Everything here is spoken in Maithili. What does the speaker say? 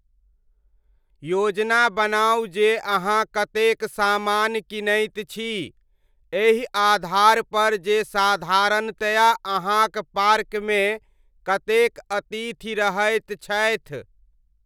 योजना बनाउ जे अहाँ कतेक सामान कीनैत छी, एहि आधारपर जे साधारणतया अहाँक पार्कमे कतेक अतिथि रहैत छथि।